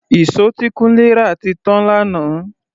Ìṣó tí Kunle rà ti tán lánàá.